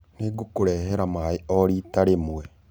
Nĩngũkũrehera maĩĩ o rĩta rĩmwe.